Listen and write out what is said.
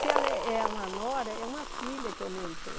Se ela é é uma nora, é uma filha que aumentou.